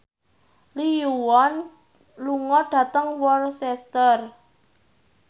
Lee Yo Won lunga dhateng Worcester